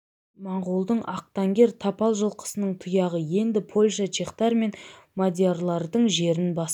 монғолдың ақтангер тапал жылқысының тұяғы енді польша чехтар мен мадиярлардың жерін басты